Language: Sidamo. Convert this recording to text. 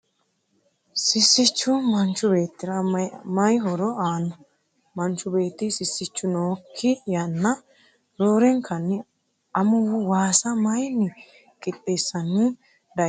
sissichu manchu beettira mayi horo aanno ? manchu beetti sissichu nookki yanna roorenkanni amuwu waasa mayiinni qixxeessanni dayiinoro xawisi ?